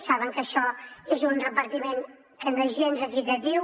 saben que això és un repartiment que no és gens equitatiu